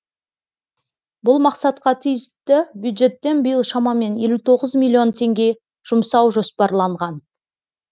бұл мақсатқа тиісті бюджеттен биыл шамамен елу тоғыз миллион теңге жұмсау жоспарланған